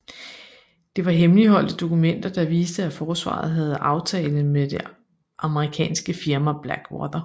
Det var hemmeligholdte dokumenter der viste at Forsvaret havde aftale med det amerikanske firma Blackwater